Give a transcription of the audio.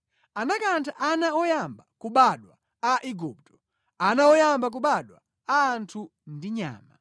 Anakantha ana oyamba kubadwa a Igupto, ana oyamba kubadwa a anthu ndi nyama.